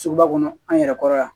Sugu ba kɔnɔ an yɛrɛ kɔrɔ yan